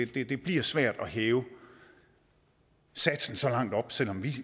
det det bliver svært at hæve satsen så meget selv om vi